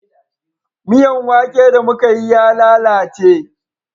Miyan wake da mu Ka yi ya lalace